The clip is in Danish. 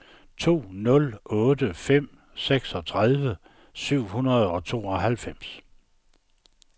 to nul otte fem seksogtredive syv hundrede og tooghalvfems